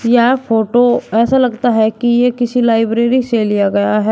यह फोटो ऐसा लगता है कि यह किसी लाइब्रेरी से लिया गया है।